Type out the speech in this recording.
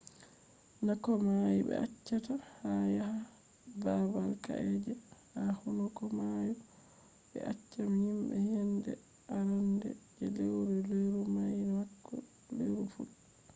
na komai be accata yaha babal ka’e je ha hunduko mayo bo be accan jimbe yende arande je leuru leuru nai bako leuru fudda